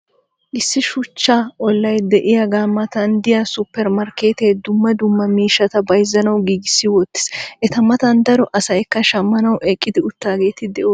issi shuchcha olay diyagaa matan diya supermarkeetee dumma dumma miishshata bayzzanawu giigissi wotiis. eta matan daro asaykka shammanawu eqqi utageeti doosona.